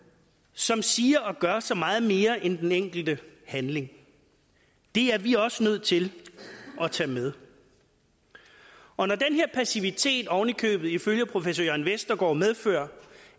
som siger og gør så meget mere end den enkelte handling det er vi også nødt til at tage med og når den her passivitet oven i købet ifølge professor jørn vestergaard medfører